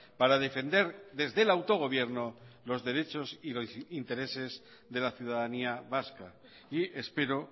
para defender desde el autogobierno los derechos y los intereses de la ciudadanía vasca y espero